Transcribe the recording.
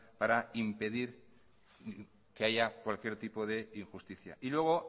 para impedir que haya cualquier tipo de injusticia y luego